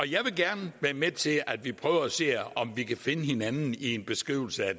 jeg vil gerne være med til at vi prøver at se om vi kan finde hinanden i en beskrivelse af